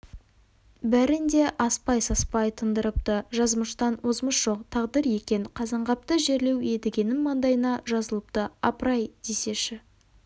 бәрін де аспай-саспай тындырыпты жазмыштан озмыш жоқ тағдыр екен қазанғапты жерлеу едігенің маңдайына жазылыпты апырай десеші